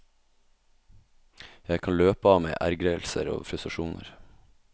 Jeg kan løpe av meg ergrelser og frustrasjoner.